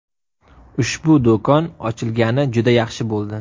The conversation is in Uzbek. Ushbu do‘kon ochilgani juda yaxshi bo‘ldi.